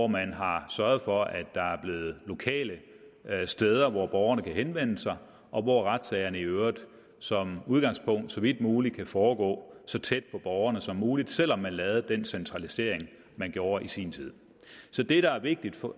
man har sørget for at der er lokale steder hvor borgerne kan henvende sig og hvor retssagerne i øvrigt som udgangspunkt så vidt muligt kan foregå så tæt på borgerne som muligt selv om man lavede den centralisering man gjorde i sin tid så det der er vigtigt